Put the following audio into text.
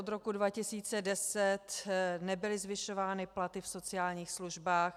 Od roku 2010 nebyly zvyšovány platy v sociálních službách.